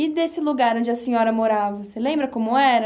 E desse lugar onde a senhora morava, você lembra como era?